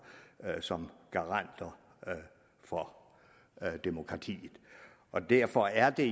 som garanter for demokratiet og derfor er det